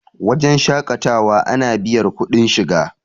wajen shaƙatawa ana biyar kuɗin shiga